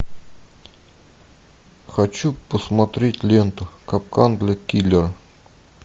хочу посмотреть ленту капкан для киллера